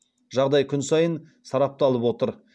жағдай күн сайын сарапталып отыр